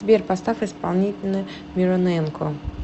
сбер поставь исполнителя мироненко